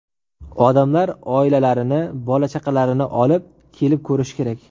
Odamlar oilalarini, bola-chaqalarini olib kelib ko‘rishi kerak.